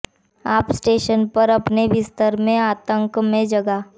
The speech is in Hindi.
आप स्टेशन पर अपने बिस्तर में आतंक में जगा